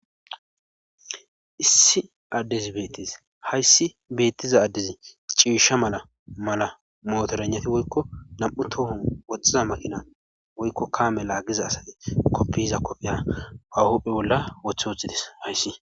issi addezi beettis hayssi beettiza addezi ciisha mala mala mootoranati woykko nam7u toohon woxhxiza maqina woykko kaame laagiza asati koppihiza koppiya wahupphe bolla wothe woththides hayssi